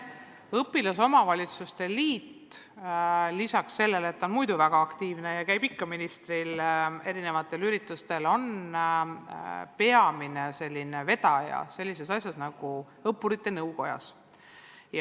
Õpilasesinduste liit on lisaks sellele, et ta on üldse väga aktiivne ja käib ikka ministriga koos erinevatel üritustel, peamine vedaja sellises ühenduses nagu Õppurite Nõukoda.